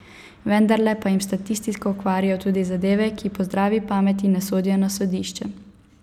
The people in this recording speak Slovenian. Vendarle pa jim statistiko kvarijo tudi zadeve, ki po zdravi pameti ne sodijo na sodišče.